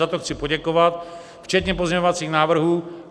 Za to chci poděkovat, včetně pozměňovacích návrhů.